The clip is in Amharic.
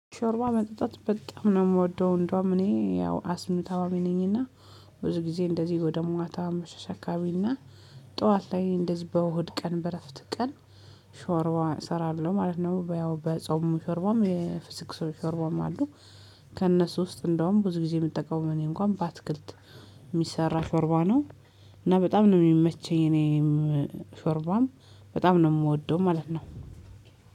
ሾርባ መጠጣት በጣም ነው የምወደው እንደውም እኔ ያው አስም ታማሚ ነኝና። ብዙ ጊዜ እንደዚህ ወደ ማታ አመቻች አካቢና ጠዋት ላይ እንደዚህ በእሁድ ቀን በረፍት ቀን። ሾርዋ እሰራለሁ ማለት ነው በያው በጾም ሾርባም የፍስክ ሾርባም አሉ። ከእነሱ ውስጥ እንደውም ብዙ ጊዜ የምትጠቀሙበት እኔ እንኳን በአትክልት የሚሰራ ሾርባ ነው። እና በጣም ነው የሚመችን የኔም ሾርባም በጣም ነው የምወደው ማለት ነው።